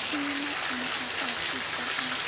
vhutshinyi maimo a fhasisa a